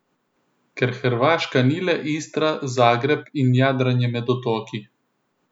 Ker Hrvaška ni le Istra, Zagreb in jadranje med otoki.